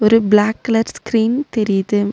ஒரு black colour screen தெரியிது.